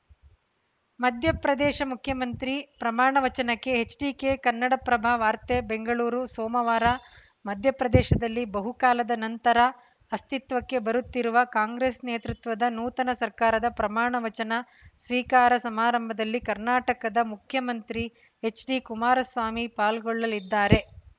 ಮಧ್ಯಪ್ರದೇಶ ಮುಖ್ಯಮಂತ್ರಿ ಪ್ರಮಾಣ ವಚನಕ್ಕೆ ಎಚ್‌ಡಿಕೆ ಕನ್ನಡಪ್ರಭ ವಾರ್ತೆ ಬೆಂಗಳೂರು ಸೋಮವಾರ ಮಧ್ಯಪ್ರದೇಶದಲ್ಲಿ ಬಹುಕಾಲದ ನಂತರ ಅಸ್ತಿತ್ವಕ್ಕೆ ಬರುತ್ತಿರುವ ಕಾಂಗ್ರೆಸ್‌ ನೇತೃತ್ವದ ನೂತನ ಸರ್ಕಾರದ ಪ್ರಮಾಣವಚನ ಸ್ವೀಕಾರ ಸಮಾರಂಭದಲ್ಲಿ ಕರ್ನಾಟಕದ ಮುಖ್ಯಮಂತ್ರಿ ಎಚ್‌ಡಿಕುಮಾರಸ್ವಾಮಿ ಪಾಲ್ಗೊಳ್ಳಲಿದ್ದಾರೆ